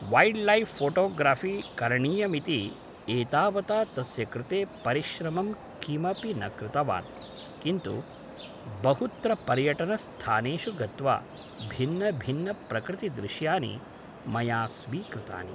wildlife photography करणीयमिति एतावता तस्य कृते परिश्रमं किमपि न कृतवान् किन्तु बहुत्र पर्यटनस्थानेषु गत्वा भिन्नभिन्न प्रकृति दृश्यानि मया स्वीकृतानि